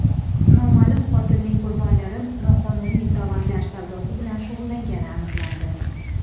Noma’lum qotilning qurbonlari noqonuniy tovarlar savdosi bilan shug‘ullangani aniqlandi.